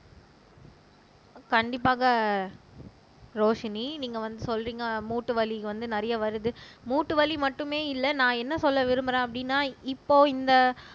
கண்டிப்பாக ரோஷினி நீங்க வந்து சொல்றீங்க மூட்டு வலி வந்து நிறைய வருது மூட்டு வலி மட்டுமே இல்ல நான் என்ன சொல்ல விரும்புறேன் அப்படீன்னா இப்போ இந்த